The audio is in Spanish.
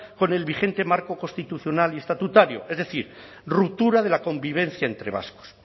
con el vigente marco constitucional y estatutario es decir ruptura de la convivencia entre vascos